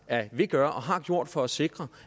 at ville gøre og har gjort for at sikre